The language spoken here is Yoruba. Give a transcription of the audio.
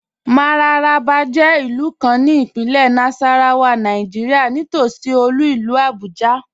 Mararaba jẹ ilù kàn ní Ìpínlẹ̀ Nasarawa, Nàìjíríà, nítòṣí olú ilù Abuja.